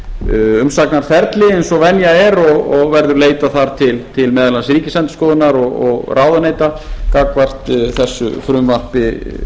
umsagnarferli eins og venja er og verði leitað þar til meðal annars ríkisendurskoðunar og ráðuneyta gagnvart þessu frumvarpi